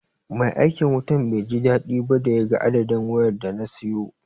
Mai aikin wutan bai ji daɗi ba da ya ga adadin wayar da na siyo.